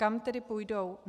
Kam tedy půjdou?